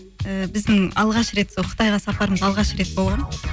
і біздің алғаш рет қытайға сапарымыз алғаш рет болған